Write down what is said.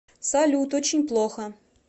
салют очень плохо